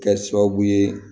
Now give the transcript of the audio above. Kɛ sababu ye